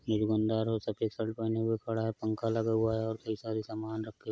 एक दुकानदार सफ़ेद शर्ट पहने हुए खड़ा है। पंखा लगा हुआ है और कई सारे सामान रक्खे --